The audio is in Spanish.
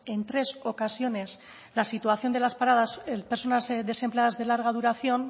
en tres ocasiones la situación de las paradas personas desempleadas de larga duración